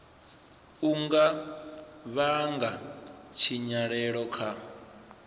u nga vhanga tshinyalelo kha